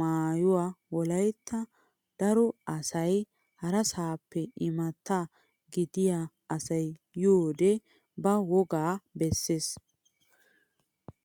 maayuwaa wolayitta daro asay harasaappe immata gidiya asay yiyoode ba wogaa besses.